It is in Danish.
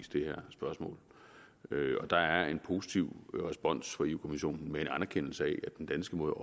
det her spørgsmål og der er en positiv respons fra europa kommissionen med en anerkendelse af at den danske måde